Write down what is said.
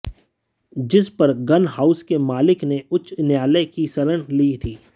जिस पर gun house के मालिक ने उच्च न्यायालय की शरण ली थी